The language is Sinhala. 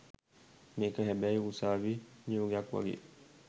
මේක හැබැයි උසාවි නියෝගයක් වගේ